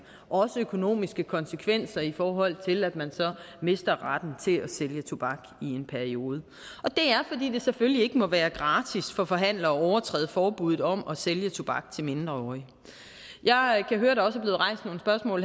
også økonomiske konsekvenser i forhold til at man så mister retten til at sælge tobak i en periode og det er fordi det selvfølgelig ikke må være gratis for forhandlere at overtræde forbuddet om at sælge tobak til mindreårige jeg kan høre at der også